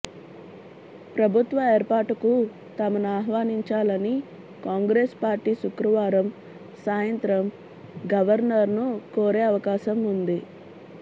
ప్రభుత్వ ఏర్పాటుకు తమను ఆహ్వానించాలని కాంగ్రెసు పార్టీ శుక్రవారం సాయంత్రం గవర్నర్ ను కోరే అవకాశం ఉంది